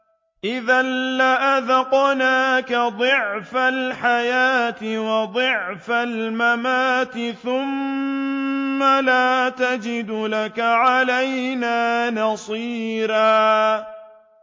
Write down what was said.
إِذًا لَّأَذَقْنَاكَ ضِعْفَ الْحَيَاةِ وَضِعْفَ الْمَمَاتِ ثُمَّ لَا تَجِدُ لَكَ عَلَيْنَا نَصِيرًا